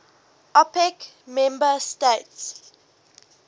opec member states